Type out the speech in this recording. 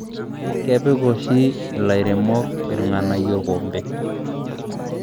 kepik oshi ilairemok ilganayio olkompe